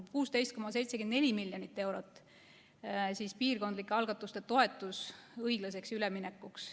16,74 miljonit eurot on piirkondlike algatuste toetus õiglaseks üleminekuks.